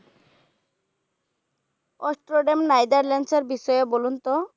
Amsterdam Netherland এর বিষয়ে বলুন তো